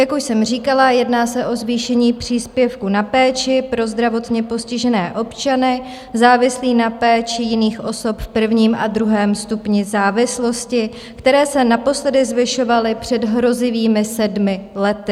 Jak už jsem říkala, jedná se o zvýšení příspěvku na péči pro zdravotně postižené občany, závislé na péči jiných osob, v prvním a druhém stupni závislosti, který se naposledy zvyšoval před hrozivými sedmi lety.